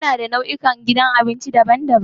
Muna da nau'ikan gidan abinci daban-daban.